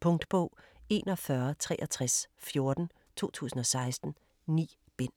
Punktbog 416314 2016. 9 bind.